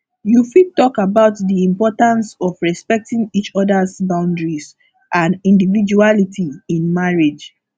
you fit talk about di importance of respecting each others boundaries and individuality in marriage